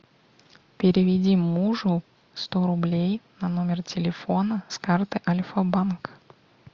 переведи мужу сто рублей на номер телефона с карты альфа банк